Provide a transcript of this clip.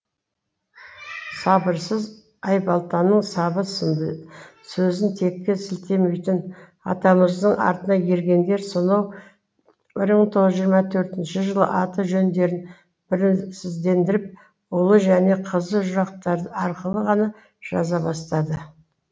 сабырсыз айбалтаның сабы сынды сөзін текке сілтемейтін атамыздың артына ергендер сонау бір мың тоғыз жүз жиырма төртінші жылы аты жөндерін біріздендіріп ұлы және қызы жұрнақтары арқылы ғана жаза бастады